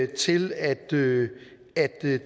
til at det